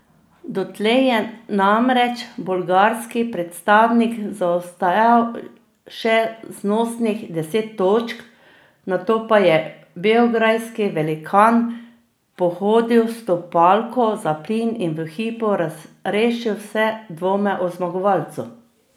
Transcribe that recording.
Dotlej je namreč bolgarski predstavnik zaostajal še znosnih deset točk, nato pa je beograjski velikan pohodil stopalko za plin in v hipu razrešil vse dvome o zmagovalcu.